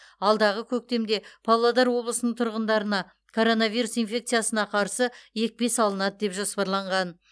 алдағы көктемде павлодар облысының тұрғындарына коронавирус инфекциясына қарсы екпе салынады деп жоспарланған